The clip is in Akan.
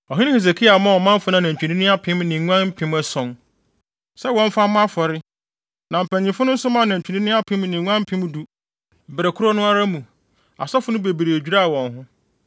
Ɔhene Hesekia maa ɔmanfo no anantwinini apem ne nguan mpem ason sɛ wɔmfa mmɔ afɔre, na mpanyimfo no nso maa anantwinini apem ne nguan mpem du. Bere koro no ara mu, asɔfo no bebree dwiraa wɔn ho.